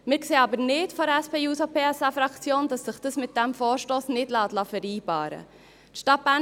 Wir von der SP-JUSO-PSA-Fraktion sehen aber nicht, dass sich das mit diesem Vorstoss nicht vereinbaren liesse.